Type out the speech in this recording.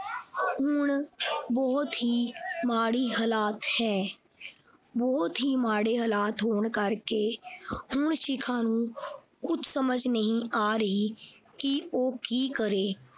ਹੁਣ ਬਹੁਤ ਹੀ ਮਾੜੇ ਹਾਲਤ ਹੈ ਬਹੁਤ ਹੀ ਮਾੜੇ ਹਾਲਾਤ ਹੋਣ ਕਰਕੇ ਹੁਣ ਸ਼ਿਖਾ ਨੂੰ ਕੁਛ ਸਮਝ ਨਹੀਂ ਆ ਰਹੀ ਕਿ ਉਹ ਕੀ ਕਰੇ।